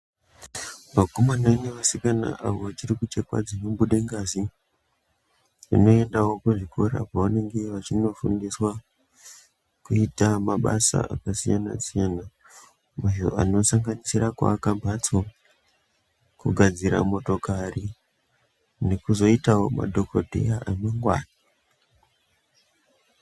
Vakomana nevasikana avo vachiri kuchekwa dzinobude ngazi vanoendawo kuzvikora kwavange vachinofundiswa kuita mabasa akasiyana siyana ayo anosanganisira kuaka mhatso kugadzira motokari nekuzoitawo madhokodheya amangwani.